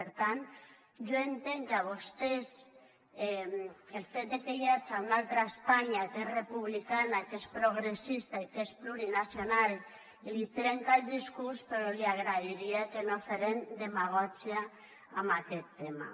per tant jo entenc que a vostès el fet que hi haja una altra espanya que és republicana que és progressista i que és plurinacional els trenca el discurs però li agrairia que no feren demagògia en aquest tema